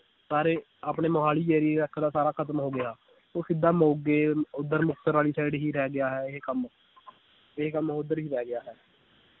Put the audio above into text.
ਸਾਰੇ ਆਪਣੇ ਮੋਹਾਲੀ ਦਾ ਸਾਰਾ ਖਤਮ ਹੋ ਗਿਆ ਉਹ ਸਿੱਧਾ ਮੋਗੇ ਓਧਰ ਵਾਲੀ side ਹੀ ਰਹਿ ਗਿਆ ਹੈ ਇਹ ਕੰਮ ਇਹ ਕੰਮ ਓਧਰ ਹੀ ਰਹਿ ਗਿਆ ਹੈ।